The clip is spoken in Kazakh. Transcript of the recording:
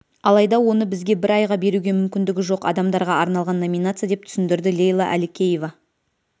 алайда оны бізге бір айға беруге мүмкіндігі жоқ адамдарға арналған номинация деп түсіндірді лейла әлікеева